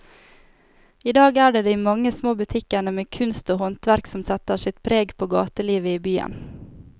I dag er det de mange små butikkene med kunst og håndverk som setter sitt preg på gatelivet i byen.